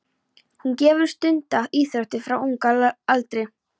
Hún hefur stundað íþróttir frá unga aldri.